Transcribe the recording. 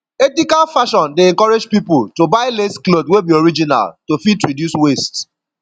ethical fashion dey encourage pipo to buy less cloth wey be original to fit reduce waste